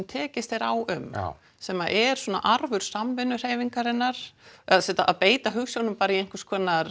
tekist er á um sem er arfur samvinnuhreyfingarinnar að beita hugsjónum bara í einhvers konar